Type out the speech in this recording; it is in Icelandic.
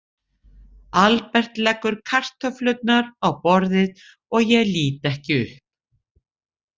Albert leggur kartöflurnar á borðið, ég lít ekki upp.